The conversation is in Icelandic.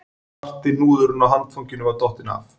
Svarti hnúðurinn á handfanginu var dottinn af